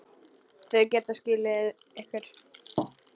Þau geta skilið ykkur.